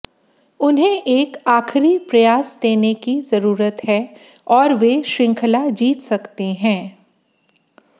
उन्हें एक आखिरी प्रयास देने की जरूरत है और वे श्रृंखला जीत सकते हैं